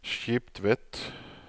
Skiptvet